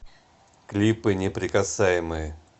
клипы неприкасаемые